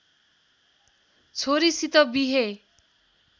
छोरीसित बिहे